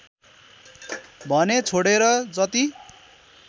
भने छोडेर जति